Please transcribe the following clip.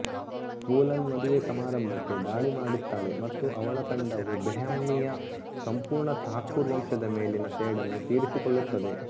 ಫೂಲನ್ ಮದುವೆ ಸಮಾರಂಭಕ್ಕೆ ದಾಳಿ ಮಾಡುತ್ತಾಳೆ ಮತ್ತು ಅವಳ ತಂಡವು ಬೆಹ್ಮಾಮಿಯ ಸಂಪೂರ್ಣ ಥಾಕೂರ್ ವಂಶದ ಮೇಲಿನ ಸೇಡನ್ನು ತೀರಿಸಿಕೊಳ್ಳುತ್ತದೆ